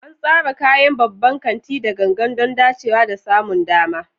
An tsara kayan babban kanti da gangan don dacewa da samun dama.